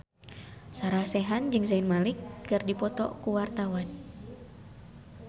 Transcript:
Sarah Sechan jeung Zayn Malik keur dipoto ku wartawan